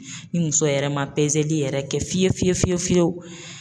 Ni muso yɛrɛ ma yɛrɛ kɛ fiye fiye fiyewu